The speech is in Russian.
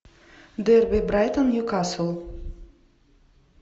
дерби брайтон ньюкасл